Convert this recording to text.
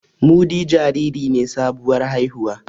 Mudi jariri ne sabuwar haihuwa